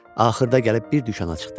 Axırda gəlib bir dükana çıxdı.